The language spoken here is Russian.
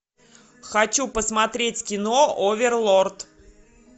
хочу посмотреть кино оверлорд